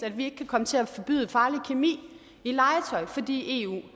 at vi ikke kan komme til at forbyde farlig kemi i legetøj fordi eu